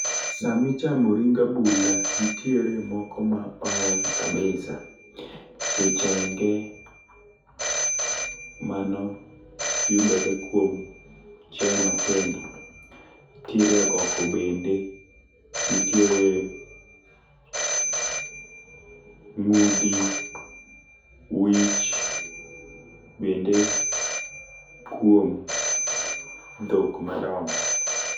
Sami chamo ring abula ntiere moko ma oher kabisa kichenge mano yudore kuom chiaye matindo. Nitiere agoko bende ntiere ng'udi , wich bende kuom dhok madongo.